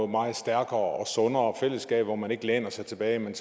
meget stærkere og sundere fællesskaber hvor man ikke læner sig tilbage men